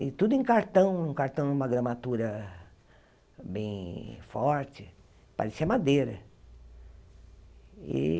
E tudo em cartão, cartão numa gramatura bem forte, parecia madeira.